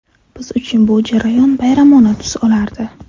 Biz uchun bu jarayon bayramona tus olardi.